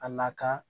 A na kan